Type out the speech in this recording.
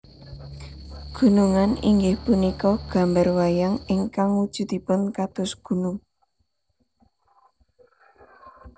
Gunungan inggih punika gambar wayang ingkang wujudipun kados gunung